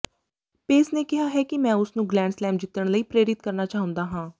ਪੇਸ ਨੇ ਕਿਹਾ ਕਿ ਮੈਂ ਉਸਨੂੰ ਗਰੈਂਡਸਲੈਮ ਜਿੱਤਣ ਲਈ ਪ੍ਰੇਰਿਤ ਕਰਨਾ ਚਾਹੁੰਦਾ ਹਾਂ